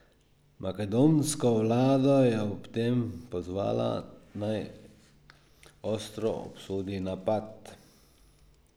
Makedonsko vlado je ob tem pozvala, naj ostro obsodi napad.